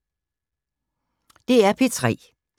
DR P3